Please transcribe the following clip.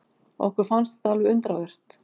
Okkur fannst þetta alveg undravert.